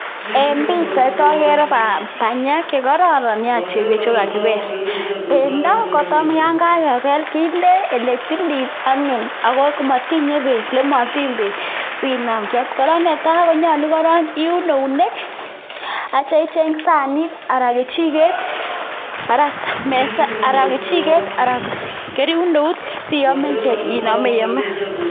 En pichait ogere banyek che kororon nya che kakibel. Bendo kotamyon kagebel kinde ele tilil anyun ago motinye beek ele motiny beek sinam kyam. Kora netai konyolu iun eunek ak itya icheng saanit anan kechiket anan iun eut siinome iome.